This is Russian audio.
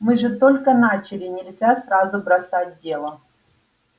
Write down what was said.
мы же только начали нельзя сразу бросать дело